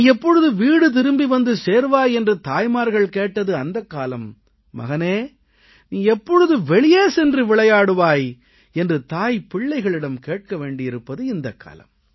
நீ எப்பொழுது திரும்பி வீடு வந்து சேர்வாய் என்று தாய்மார்கள் கேட்டது அந்தக் காலம் மகனே நீ எப்பொழுது வெளியே சென்று விளையாடுவாய் என்று தாய் பிள்ளையிடம் கேட்க வேண்டியிருப்பது இந்தக் காலம்